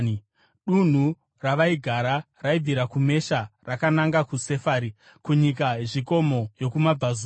(Dunhu ravaigara raibvira kuMesha rakananga kuSefari, kunyika yezvikomo yokumabvazuva.)